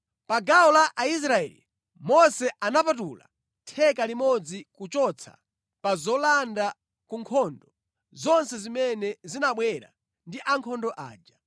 Pa gawo la Aisraeli, Mose anapatula theka limodzi kuchotsa pa zolanda ku nkhondo zonse zimene zinabwera ndi ankhondo aja.